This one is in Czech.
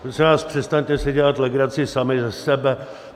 Prosím vás, přestaňte si dělat legraci sami ze sebe.